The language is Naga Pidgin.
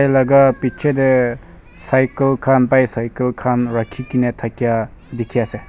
laga piche dey cycle khan bicycle khan rakhi kena thakia dikhi ase.